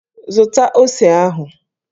Zụta ose ahụ!